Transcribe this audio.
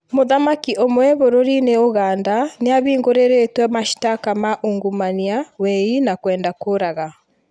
Mũthamaki ũmwe bũrũrinĩ Uganda nĩambingurĩrĩtwe mashtaka ma ungumania, wei na kwenda kũraga